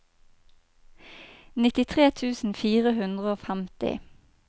nittitre tusen fire hundre og femti